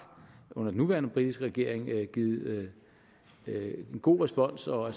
under den nuværende britiske regering givet en god respons og er